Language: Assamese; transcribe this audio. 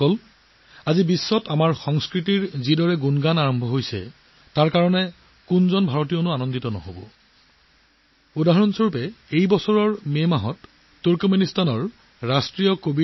আজি বিশ্বজুৰি আমাৰ সংস্কৃতিৰ গুণগন হোৱাটোত ভাৰতৰ একাংশ লোক সুখী নহয় এতিয়া এই বছৰৰ মে' মাহৰ দৰেই ৰাষ্ট্ৰ কবিৰ ৩০০ বছৰীয়া জন্মদিন তুৰ্কমেনিস্তানত উদযাপন কৰা হৈছিল